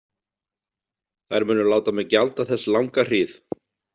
Þær munu láta mig gjalda þess langa hríð.